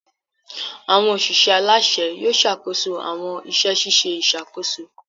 Awọn oṣiṣẹ alaṣẹ Yóò ṣakoso awọn iṣẹ ṣiṣe iṣakoso